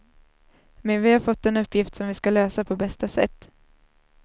Men vi har fått en uppgift som vi ska lösa på bästa sätt.